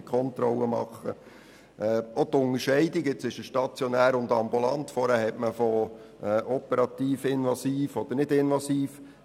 Jetzt spricht man von stationär und ambulant, vorher sprach man von operativ, invasiv oder nicht invasiv.